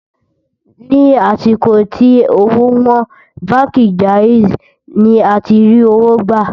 ní àsìkò tí òwò wón, bánkì jaizi ní àti rí owó gbà